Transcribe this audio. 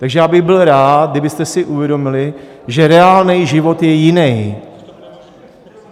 Takže já bych byl rád, kdybyste si uvědomili, že reálný život je jiný.